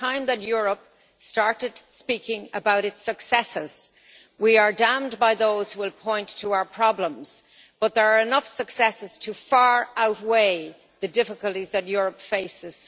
It is time that Europe started speaking out about its successes. We are damned by those who will point to our problems, but there are enough successes to far outweigh the difficulties that Europe faces.